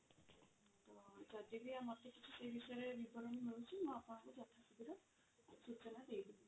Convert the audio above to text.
ତ ଯଦି ବି ଆମର କିଛି ସେଇ ବିଷୟରେ ବିବରଣୀ ମିଳୁଛି ମୁଁ ଆପଣଙ୍କୁ ଯଥାଶୀଘ୍ର ସୂଚନା ଦେଇ ଦେବି.